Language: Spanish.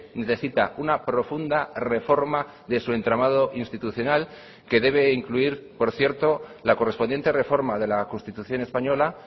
necesita una profunda reforma de su entramado institucional que debe incluir por cierto la correspondiente reforma de la constitución española